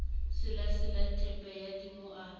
selasela theepe ya dimo a